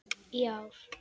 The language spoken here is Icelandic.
í ár.